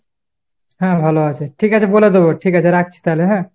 হ্যাঁ ভালো আছে। ঠিক আছে বলে দেব ,ঠিক আছে রাখছি তাহলে হ্যাঁ ?